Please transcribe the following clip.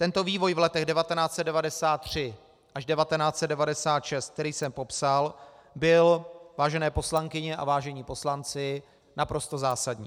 Tento vývoj v letech 1993 až 1996, který jsem popsal, byl, vážené poslankyně a vážení poslanci, naprosto zásadní.